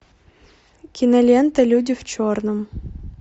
кинолента люди в черном